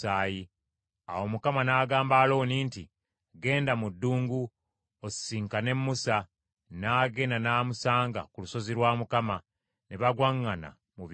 Awo Mukama n’agamba Alooni nti, “Genda mu ddungu, osisinkane Musa. N’agenda, n’amusanga ku lusozi lwa Katonda, ne bagwaŋŋana mu bifuba.”